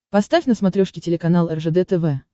поставь на смотрешке телеканал ржд тв